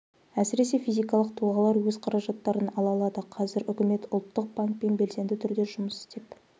әсіресе физикалық тұлғалар өз қаражаттарын ала алады қазір үкімет ұлттық банкпен белсенді түрде жұмыс істеп